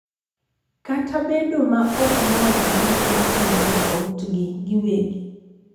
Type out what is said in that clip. Kata bedo ma ok mor gi gik ma timore e otgi giwegi,